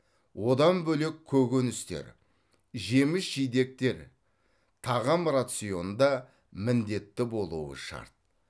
одан бөлек көкөністер жеміс жидектер тағам рационында міндетті болуы шарт